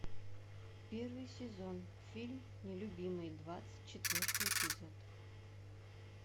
первый сезон фильм нелюбимый двадцать четвертый эпизод